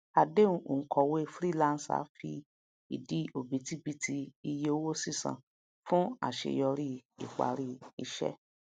àdehun onkòwe freelancer fi idi obitibiti iye owó sisan fún àṣeyọrí ipari iṣẹ